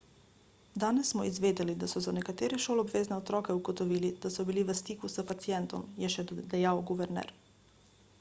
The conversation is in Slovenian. danes smo izvedeli da so za nekatere šoloobvezne otroke ugotovili da so bili v stiku s pacientom je še dejal guverner